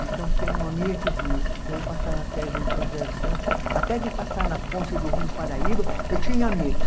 Então, tem uma amiga que diz, eu passava férias em São José dos Campos, até de passar na ponte do Rio Paraíba, eu tinha medo.